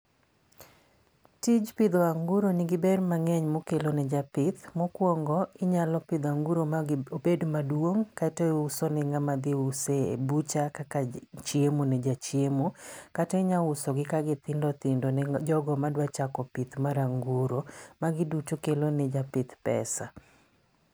Tij pidho anguro nigi ber mangény ma okelo ne japith. Mokwongo inyalo pidho anguro ma gi, obed maduong' kata iuso ne ngáma dhi use e butcher kaka chiemo ne jachiemo. Kata inyausogi ka githindo thindo ne jogo ma dwa chako pith mar anguro. Magi duto kelo ne japith pesa